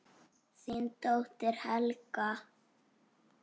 Þín dóttir, Helga.